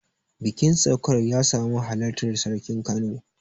bikin saukar ya samu halartar sarkin kano